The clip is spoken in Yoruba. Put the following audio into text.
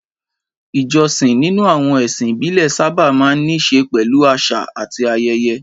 Ìjọsìn nínú àwọn ẹ̀sìn ìbílẹ̀ sábà máa ń ní í ṣe pẹ̀lú àṣà àti ayẹyẹ.